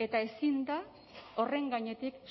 eta ezin da horren gainetik